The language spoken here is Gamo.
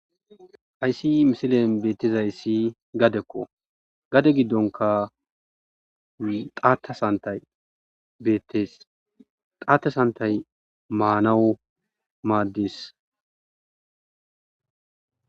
ayssi misilen beettizay ssi gadekko gade giddonka xaata santay beettes xaatesantay maanawu maaddis